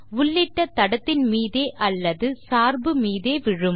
உள்ளிட்ட தடத்தின் மீதே அல்லது சார்பு மீதே விழும்